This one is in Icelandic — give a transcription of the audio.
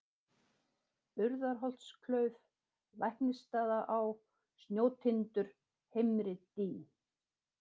Urðarholtsklauf, Læknisstaðaá, Snjótindur, Heimridý